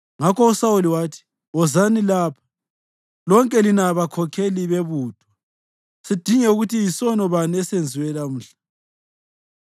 Ngakho uSawuli wathi, “Wozani lapha, lonke lina bakhokheli bebutho, sidinge ukuthi yisono bani esenziwe lamhla.